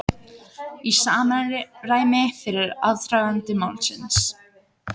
Í samræmi við aðdraganda málsins